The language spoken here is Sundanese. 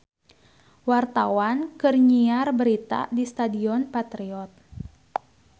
Wartawan keur nyiar berita di Stadion Patriot